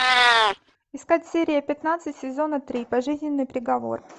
искать серия пятнадцать сезона три пожизненный приговор